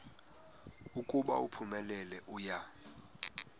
ukuba uphumelele uya